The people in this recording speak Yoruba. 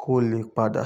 kó lè padà.